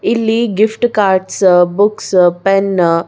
ಇಲ್ಲಿ gift cards books pen --